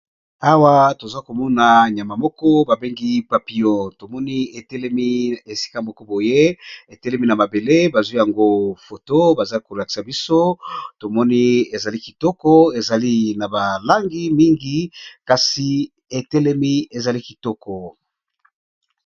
Awa toza komona nyama moko babengi papillon tomoni etelemi esika moko boye etelemi na mabele bazwi yango foto baza kolakisa biso tomoni ezali kitoko ezali na balangi mingi kasi etelemi ezali kitoko.